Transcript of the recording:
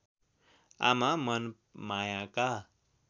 आमा मनमायाका